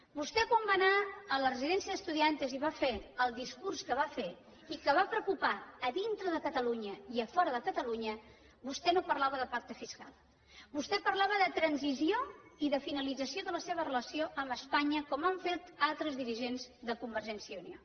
vostè quan va anar a la residencia de estudiantes i va fer el discurs que va fer i que va preocupar a dintre de catalunya i a fora de catalunya vostè no parlava de pacte fiscal vostè parlava de transició i de finalització de la seva relació amb espanya com han fet altres dirigents de convergència i unió